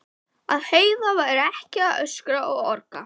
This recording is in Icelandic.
Að Heiða væri ekki að öskra og orga.